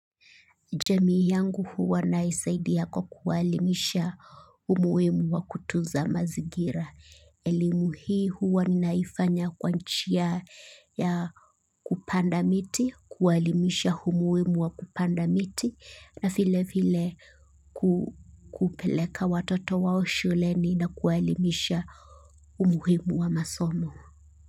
Jamii yangu huwa naisaidia kwa kuwaelimisha umuimu wa kutunza mazingira. Elimu hii huwa naifanya kwa njia ya kupanda miti, kuwaelimisha umuimu wa kupanda miti, na vile vile kupeleka watoto wao shuleni na kuwaelimisha umuhimu wa masomo.